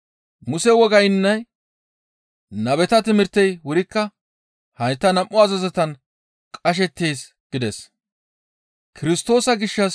Muse wogaynne nabeta timirtey wurikka hayta nam7u azazotan qashettees» gides.